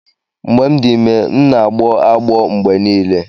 Mgbe m dị ime, m na-agbọ agbọ mgbe niile.